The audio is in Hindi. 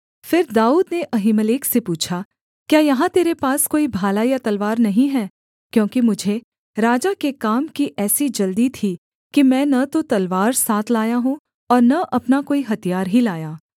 फिर दाऊद ने अहीमेलेक से पूछा क्या यहाँ तेरे पास कोई भाला या तलवार नहीं है क्योंकि मुझे राजा के काम की ऐसी जल्दी थी कि मैं न तो तलवार साथ लाया हूँ और न अपना कोई हथियार ही लाया